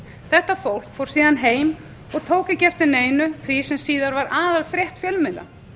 þetta fólk fór síðan heim og tók ekki eftir neinu því sem síðar varð aðalfrétt fjölmiðla